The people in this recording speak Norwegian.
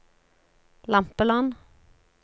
Lampeland